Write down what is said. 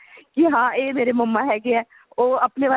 ਜੀ ਹਾਂ ਇਹ ਮੇਰੇ mamma ਹੈਗੇ ਆ ਉਹ ਆਪਣੇ ਵੱਲ